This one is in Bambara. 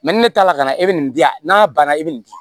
ne ta la kana ne bɛ nin di yan n'a banna e bɛ nin di